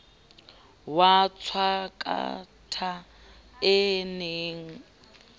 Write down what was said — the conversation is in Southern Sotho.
wa matshwakatha e ne e